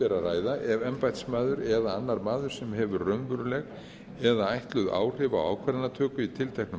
ræða ef embættismaður eða annar maður sem hefur raunveruleg eða ætluð áhrif á ákvarðanatöku í tilteknu